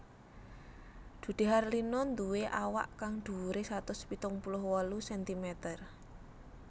Dude Harlino nduwé awak kang dhuwuré satus pitung puluh wolu sentimeter